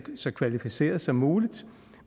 så kvalificeret som muligt